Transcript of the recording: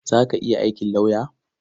Za ki iya aikin lauya?